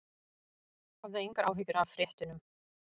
Hafðu engar áhyggjur af fréttunum.